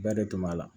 Bɛɛ de tun b'a la